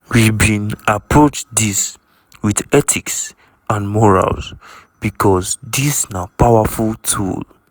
"we bin approach dis wit ethics and morals becos dis na powerful tool.